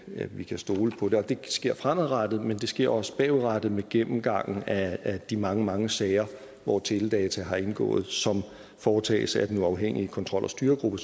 at vi kan stole på det det sker fremadrettet men det sker også bagudrettet med gennemgangen af de mange mange sager hvor teledata har indgået som foretages af den uafhængige kontrol og styregruppe